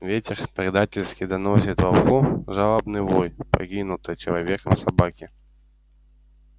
ветер предательски доносит волку жалобный вой покинутой человеком собаки